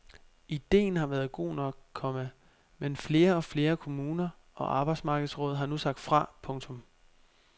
Idéen har været god nok, komma men flere og flere kommuner og arbejdsmarkedsråd har nu sagt fra. punktum